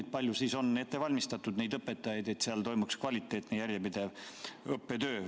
Kui palju on neid õpetajaid ette valmistatud, et toimuks kvaliteetne järjepidev õppetöö?